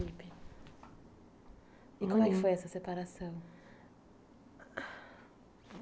E como é que foi essa separação?